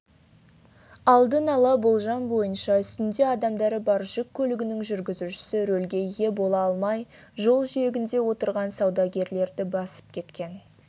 алдын ала болжам бойынша үстінде адамдары бар жүк көлігінің жүргізушісі рөлге ие бола алмай жол жиегінде отырған саудагерлерді басып кеткен